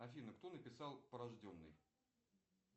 афина кто написал порожденный